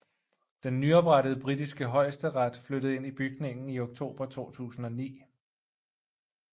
Den nyoprettede britiske højesteret flyttede ind i bygningen i oktober 2009